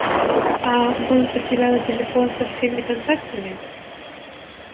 а может потеряла телефон со всеми контактами